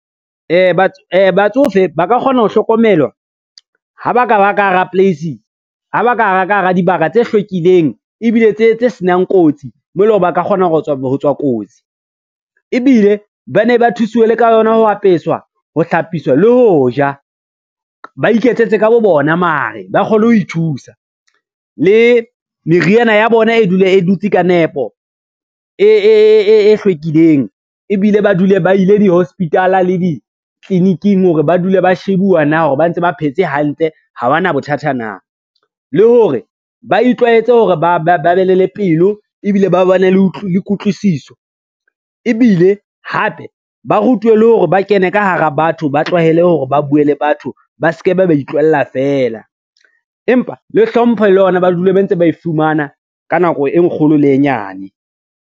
Batsofe ba ka kgona ho hlokomelwa, ha ba ka ba ka hara dibaka tse hlwekileng ebile tse senang kotsi mo eleng hore ba ka kgona ho tswa kotsi. Ebile ba ne ba thusuwe ka yona ho apeswa, ho hlapiswa le ho ja, ba iketsetse ka bo bona mare ba kgone ho ithusa. Le meriana ya bona e dule e dutse ka nepo e hlwekileng, ebile ba dule ba ile di-hospital-a le ditliliniking hore ba dule ba shebuwa na hore ba ntse ba phetse hantle ha ba na bothata na. Le hore ba itlwaetse hore ba be le le pelo, ebile ba ba ne le kutlwisiso ebile hape ba rutwe le hore ba kene ka hara batho ba tlwahele hore ba bue le batho ba se ke be ba itlohella fela, empa le hlompho le yona, ba dule ba ntse ba e fumana ka nako e nkgono le e nyane.